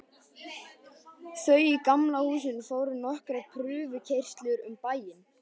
Þau í Gamla húsinu fóru nokkrar prufukeyrslur um bæinn.